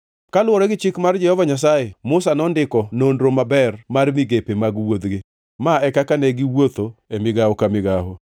Kaluwore gi chik mar Jehova Nyasaye, Musa nondiko nonro maber mar migepe mag wuodhgi. Ma e kaka ne giwuotho e migawo ka migawo: